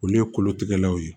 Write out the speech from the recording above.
Olu ye kolotigɛlaw ye